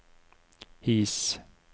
His